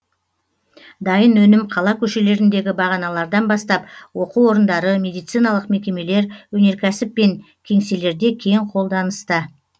дайын өнім қала көшелеріндегі бағаналардан бастап оқу орындары медициналық мекемелер өнеркәсіп пен кеңселерде кең қолданыста